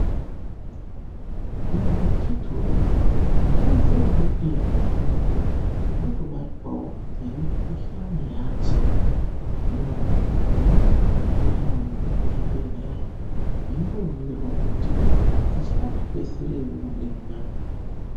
Imwi akhiti woye. Munozviziya ere kuti ndxondo dzinotobatwawo ngemikhushani yadzo. Hino munofane kupota mweinde kuzvibhehlera mweimboningirwa kuti dzichakati kwese ere mudehenyamo.